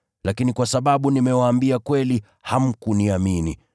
Lakini kwa sababu nimewaambia kweli hamkuniamini!